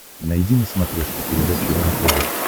найди на смотрешке передачу рентв